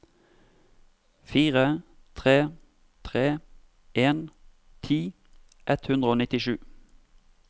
fire tre tre en ti ett hundre og nittisju